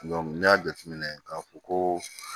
n'i y'a jateminɛ k'a fɔ ko